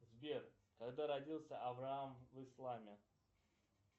сбер когда родился авраам в исламе